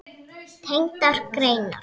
Tengdar greinar